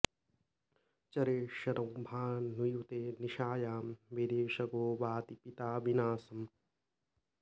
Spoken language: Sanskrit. चरे शनौ भानुयुते निशायां विदेशगो वाति पिता विनाशम्